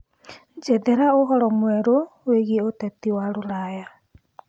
njethera ũhoro mwerũ wiĩgie uteti wa ruraya